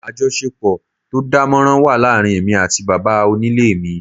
Àjọṣepọ̀ tó dánmọ́nrán wà láàárín èmi àti bàbá onílé mi